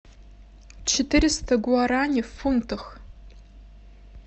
четыреста гуарани в фунтах